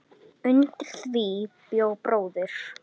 Undir því bjó bróðir